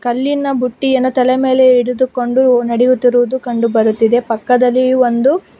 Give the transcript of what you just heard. ಕಲ್ಲಿನ ಬುಟ್ಟಿಯನ್ನು ತಲೆ ಮೇಲೆ ಹಿಡಿದುಕೊಂಡು ನೆಡೆಯುತ್ತಿರುವುದು ಕಂಡು ಬರುತ್ತಿದೆ ಪಕ್ಕದಲ್ಲಿ ಒಂದು--